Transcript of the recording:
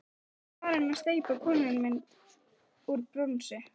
Er farin að steypa konumynd úr bronsi.